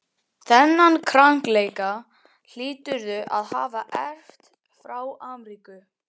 Þennan krankleika hlýturðu að hafa erft frá Ameríku.